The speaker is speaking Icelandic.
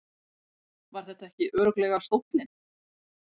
Var þetta ekki örugglega stóllinn?